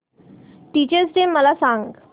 teachers day मला सांग